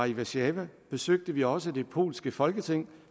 i warszawa besøgte vi også det polske folketing